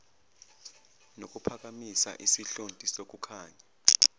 nokuphakamisa isihlonti sokukhanya